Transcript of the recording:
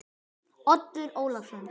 Oddur Ólason.